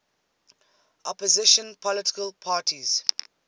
opposition political parties